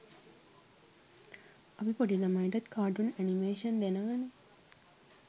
අපි පොඩ් ළමයින්ටත් කාටුන් ඇනිමේෂන් දෙනවනේ.